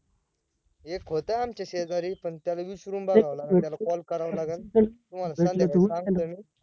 एक होत आमच्या शेजारी पण त्याला विचरून बघावं लागेल त्याला call करावा लागेल तुम्हाला संध्याकाळी सांगतो मी